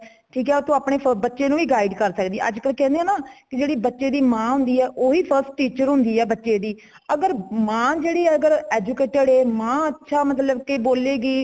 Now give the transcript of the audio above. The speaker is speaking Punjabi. ਠੀਕ ਹੈ ਫ਼ ਆਪਣੇ ਬੱਚੇ ਨੂੰ ਵੀ ਗਾਈਡ ਕਰ ਸੱਕਦੀ ਹੈ ,ਅੱਜ ਕਲ ਕੇਂਦੇਹ ਹੈ ਨਾ ਜੇੜੀ ਬੱਚੇ ਦੀ ਮਾਂ ਹੋਂਦੀ ਹੈ ਓਹੀ first teacher ਹੋਂਦੀ ਹੈ। ਬੱਚੇ ਦੀ , ਅਗਰ ਮਾਂ ਜੇੜੀ ਅਗਰ educated ਏ ਮਾਂ ਅੱਛਾ ਮਤਲਬ ਕੇ ਬੋਲੇਗੀ